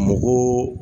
Mɔgɔw